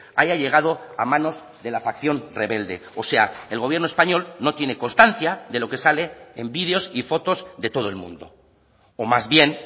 haya llegado a manos de la facción rebelde o sea el gobierno español no tiene constancia de lo que sale en vídeos y fotos de todo el mundo o más bien